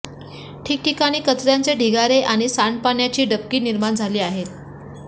ठिकठिकाणी कचऱयाचे ढिगारे आणि सांडपाण्याची डबकी निर्माण झाली आहेत